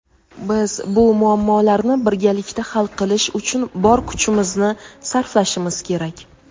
biz bu muammolarni birgalikda hal qilish uchun bor kuchimizni sarflashimiz kerak.